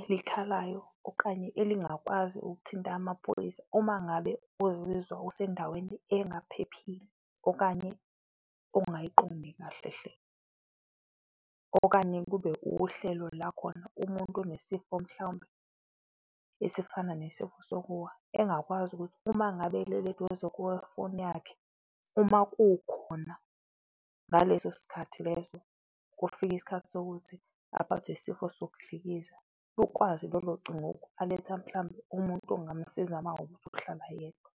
elikhalayo okanye elingakwazi ukuthinta amaphoyisa uma ngabe uzizwa usendaweni engaphephile okanye ongayiqondi kahle hle. Okanye kube uhlelo la khona umuntu onesifo mhlawumbe esifana nesifo sokuwa, engakwazi ukuthi uma ngabe elele eduze kwefoni yakhe, uma kukhona ngaleso sikhathi leso, kufika isikhathi sokuthi aphathwe yisifo sokudlikiza, lukwazi lolo cingo uku-alert-a mhlawumbe umuntu ongamusiza mawukuthi uhlala yedwa.